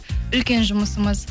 үлкен жұмысымыз